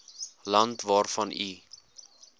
land waarvan u